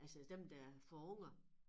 Altså dem der får unger